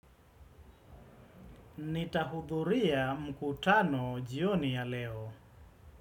Nitahudhuria mkutano jioni ya leo.